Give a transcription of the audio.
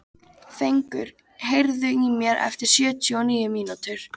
Fengur, heyrðu í mér eftir sjötíu og níu mínútur.